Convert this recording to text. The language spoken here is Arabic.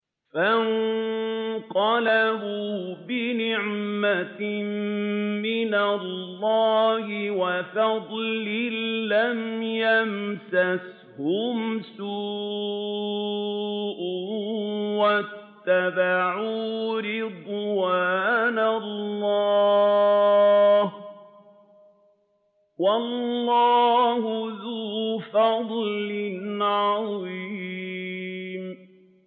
فَانقَلَبُوا بِنِعْمَةٍ مِّنَ اللَّهِ وَفَضْلٍ لَّمْ يَمْسَسْهُمْ سُوءٌ وَاتَّبَعُوا رِضْوَانَ اللَّهِ ۗ وَاللَّهُ ذُو فَضْلٍ عَظِيمٍ